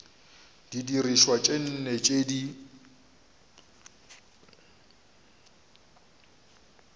didirišwa tše nne tše di